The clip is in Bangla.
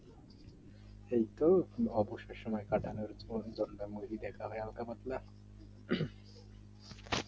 সে তো অবশ্যই সময় কাটানোর জন্য movie দেখা হয় হালকা পাতলা